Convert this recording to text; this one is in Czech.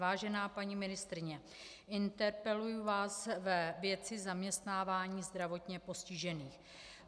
Vážená paní ministryně, interpeluji vás ve věci zaměstnávání zdravotně postižených.